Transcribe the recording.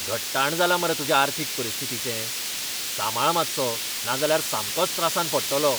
घट्टाण जालां मरे तुजे अर्थीक परिस्थितीचें! सांबाळ मातसो, नाजाल्यार सामकोच त्रासांत पडटलो.